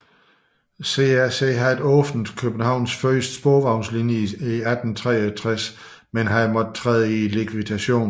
CRC havde åbnet Københavns første sporvejslinje i 1863 men havde måttet træde i likvidation